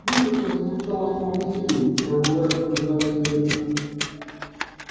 музыка зазвучала с новой силой прорвалась сквозь завесу ветра